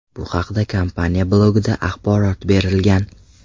Bu haqda kompaniya blogida axborot berilgan .